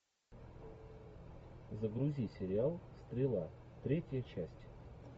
загрузи сериал стрела третья часть